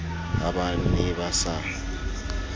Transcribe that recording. ha ba ne ba sa